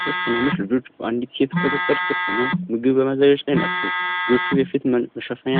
ሶስት ትናንሽ ልጆች በአንዲት ሴት ቁጥጥር ስር ሆነው ምግብ በማዘጋጀት ላይ ናቸው። ልጆቹ የፊት መሸፈኛ